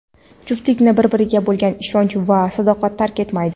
juftlikni bir-biriga bo‘lgan ishonch va sadoqat tark etmaydi.